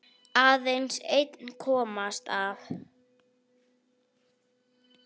Aðeins einn komst af.